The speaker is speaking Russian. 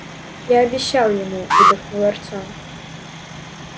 я обещал ему выдохнул артём